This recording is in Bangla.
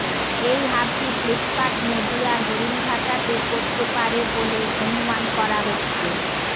এই হাবটি ফ্লিপকার্ট নদীয়ার হরিনঘাটাতে করতে পারে বলে অনুমান করা হচ্ছে